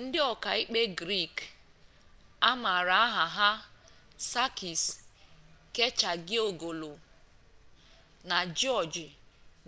ndị ọka ikpe grik amaara aha ha sakis kechagioglou na jiọj